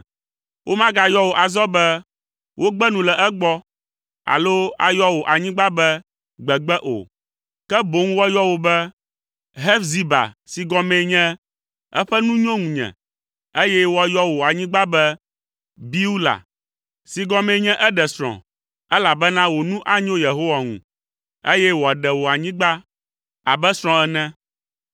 Womagayɔ wò azɔ be Wogbe nu le egbɔ, alo ayɔ wò anyigba be Gbegbe o. Ke boŋ woayɔ wò be, Hefziba si gɔmee nye Eƒe nu nyo ŋunye, eye woayɔ wò anyigba be Biula, si gɔmee nye eɖe srɔ̃, elabena wò nu anyo Yehowa ŋu, eye wòaɖe wò anyigba abe srɔ̃ ene.